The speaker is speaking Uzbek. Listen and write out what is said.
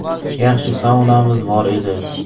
Yaxshi saunamiz bor edi.